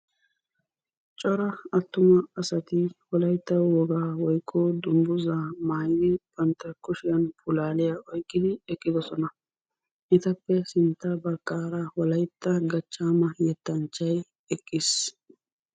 Cora attuma asati wolaytta wogaa woykko dunguzaa maayidi bantta kushshiyaan pulaaliyaa oyqqidi eqqidosona. etappe sintta baggaara wolaytta gachchaama yettanchchay eqqiis.